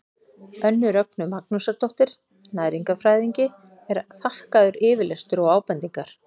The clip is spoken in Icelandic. önnu rögnu magnúsardóttur næringarfræðingi er þakkaður yfirlestur og ábendingar